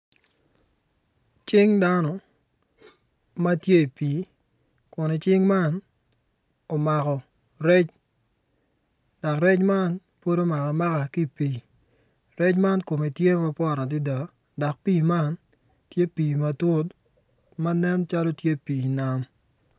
Cing dano ma tye i pii kun cing man omako rec dak rec man pud omaka amaka ki i pii rec man kume tye mapwot adida dok pii man tye pii matut ma nen calo tye pii nam